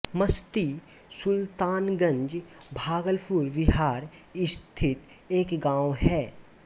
मसदी सुलतानगंज भागलपुर बिहार स्थित एक गाँव है